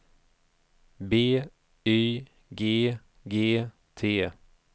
B Y G G T